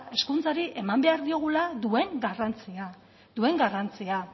hezkuntzari eman behar diogula duen garrantzia duen garrantzia